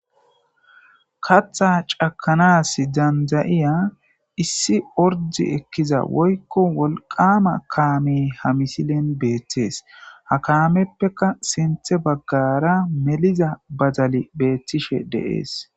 katha cakanas dandayiya issi ordi ekkiza woykko wolqama kaame ha misilen beettees ha kaameppeka sinthe baggara meliza bazali beettishe deees